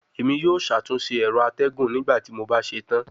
Emi yoo ṣatunṣe ẹrọ atẹgun nigbati mo ba ṣetan